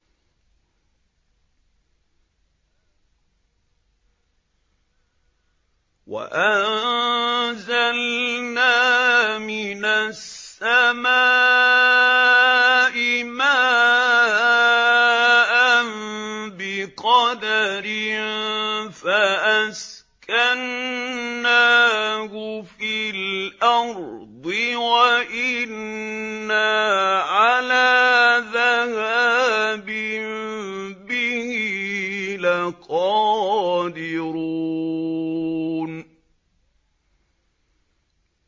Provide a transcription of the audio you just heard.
وَأَنزَلْنَا مِنَ السَّمَاءِ مَاءً بِقَدَرٍ فَأَسْكَنَّاهُ فِي الْأَرْضِ ۖ وَإِنَّا عَلَىٰ ذَهَابٍ بِهِ لَقَادِرُونَ